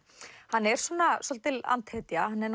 hann er svolítil